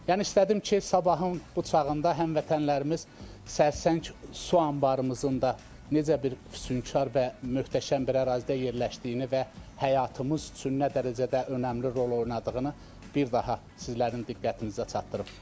Yəni istədim ki, sabahın bu çağında həmvətənlərimiz Sərsəng su anbarımızın da necə bir füsunkar və möhtəşəm bir ərazidə yerləşdiyini və həyatımız üçün nə dərəcədə önəmli rol oynadığını bir daha sizlərin diqqətinizə çatdırım.